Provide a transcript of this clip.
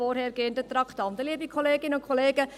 Liebe Kolleginnen und Kollegen: